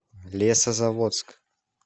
лесозаводск